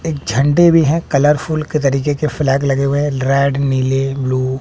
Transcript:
एक झंडे भी हैं कलरफूल के तरीके के फ्लैग लगे हुए हैं रेड नीले ब्लू ।